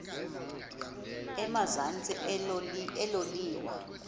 emazantsi elo liwa